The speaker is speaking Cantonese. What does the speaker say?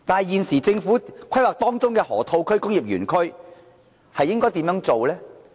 可是，政府現時規劃的河套區、工業園區又該怎樣做呢？